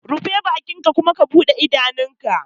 Rufe bakinka ka kuma bude idanunka!